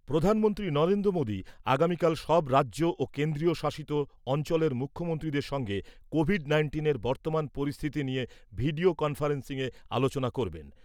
প্রধানমন্ত্রী নরেন্দ্র মোদী আগামীকাল সব রাজ্য ও কেন্দ্রীয় শাসিত অঞ্চলের মুখ্যমন্ত্রীদের সঙ্গে কোভিড নাইন্টিনের বর্তমান পরিস্থিতি নিয়ে ভিডিও কনফারেন্সিংয়ে আলোচনা করবেন।